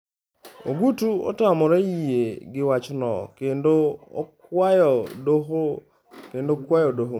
(A) Ogutu otamore yie gi wachno kendo okwayodoho Maduong'.